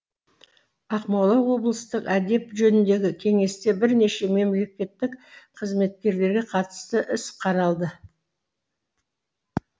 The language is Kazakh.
ақмола облыстық әдеп жөніндегі кеңесте бірнеше мемлекеттік қызметкерге қатысты іс қаралды